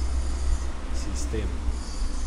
Sistem.